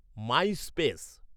MySpace